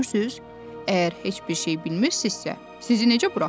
Görürsüz, əgər heç bir şey bilmirsizsə, sizi necə buraxaq?